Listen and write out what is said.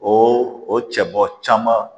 O o cɛ bɔ caman